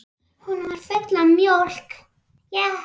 Hún var full af mjólk!